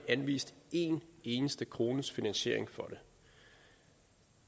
anvist en eneste krones finansiering